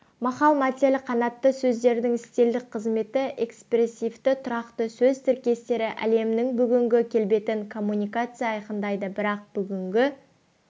мақал-мәтел қанатты сөздердің стильдік қызметі экспрессивті тұрақты сөз тіркестері әлемнің бүгінгі келбетін коммуникация айқындайды бірақ бүгінгі